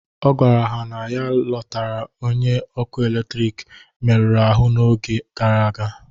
Ọ gwara ha na ya lotara onye ọkụ eletrik meruru ahụ n'oge gara aga